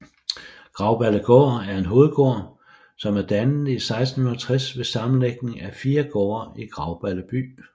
Grauballegård er en hovedgård som er dannet i 1660 ved sammenlægning af 4 gårde i Grauballe By